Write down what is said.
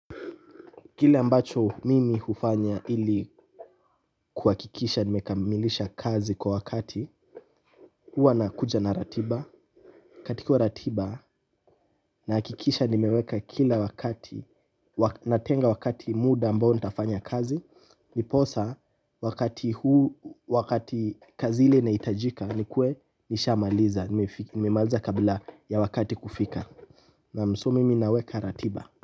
Kile ambacho mimi hufanya ili kuhakikisha nimekamilisha kazi kwa wakati. Huwa nakuja na ratiba. Katika ratiba nahakikisha nimeweka kila wakati, natenga wakati muda ambao nitafanya kazi ndiposa wakati huu wakati kazi hili lahitajika nikue nishamaliza, nimemaliza kabla ya wakati kufika naam, so mimi naweka ratiba.